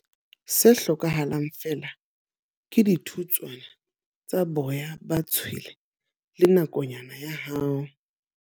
Se hlokahalang feela ke dithutswana tsa boya ba tshwele le nakonyana ya hao.